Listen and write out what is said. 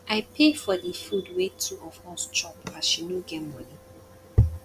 i pay for di food wey two of us chop as she no get moni